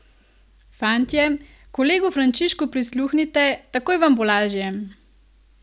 Fantje, kolegu Frančišku prisluhnite, takoj vam bo lažje!